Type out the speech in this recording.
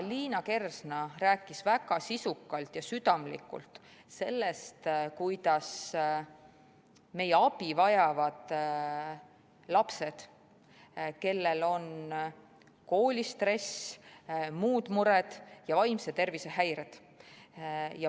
Liina Kersna rääkis väga sisukalt ja südamlikult meie abivajavatest lastest, kellel on koolistress, muud mured ja vaimse tervise häired.